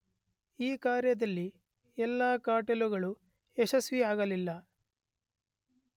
ಈ ಕಾರ್ಯದಲ್ಲಿ ಎಲ್ಲ ಕಾರ್ಟೆಲ್ಲುಗಳೂ ಯಶಸ್ವಿಯಾಗಲಿಲ್ಲ.